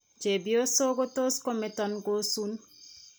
Cheebyosok ko tos' kometon kosun.